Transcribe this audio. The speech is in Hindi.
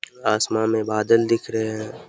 आसमान मे बादल दिख रहे हैं।